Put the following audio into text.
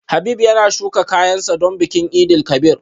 Habib yana shuka kayan sa don bikin Eid El Kabir